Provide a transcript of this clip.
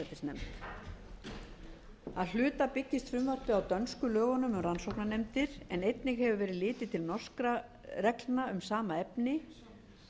í forsætisnefnd að hluta byggist frumvarpið þetta á dönsku lögunum um rannsóknarnefndir en einnig hefur verið litið til norskra reglna um sama efni